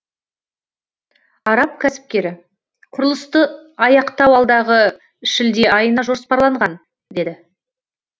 араб кәсіпкері құрылысты аяқтау алдағы шілде айына жоспарланған деді